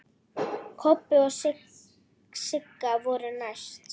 Kobbi og Sigga voru næst.